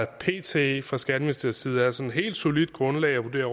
pt fra skatteministeriets side er et sådan helt solidt grundlag at vurdere